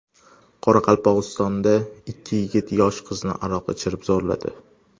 Qoraqalpog‘istonda ikki yigit yosh qizni aroq ichirib zo‘rladi.